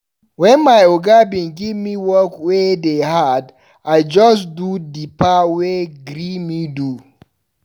Wen my oga bin give me work wey dey hard, I just do di part wey gree me do.